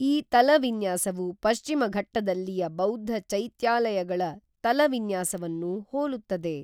ಈ ತಲವಿನ್ಯಾಸವು ಪಶ್ಚಿಮ ಘಟ್ಟದಲ್ಲಿಯ ಬೌದ್ಧ ಚೈತ್ಯಾಲಯಗಳ ತಲವಿನ್ಯಾಸವನ್ನು ಹೋಲುತ್ತದೆ.